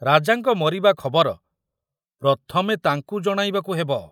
ରାଜାଙ୍କ ମରିବା ଖବର ପ୍ରଥମେ ତାଙ୍କୁ ଜଣାଇବାକୁ ହେବ।